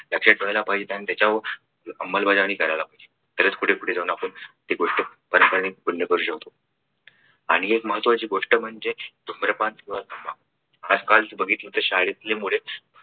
लक्षात ठेवायला पाहिजे आणि त्याच्यावर अंमलबजावणी करायला पाहिजे तरच पुढे जाऊन आपण गोष्ट बंद करू शकतो अनेक महत्त्वाची गोष्ट म्हणजे धूम्रपान किंवा तंबाखू आज कालचे बघितले तर शाळेतील मुले